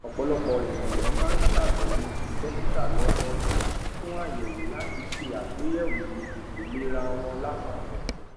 ọpọlọpọ ènìyàn máa ń ṣàbẹwò sí dókítà lọdọọdún fún àyẹwò láti ṣe àgbéyẹwò ìlera wọn lápapọ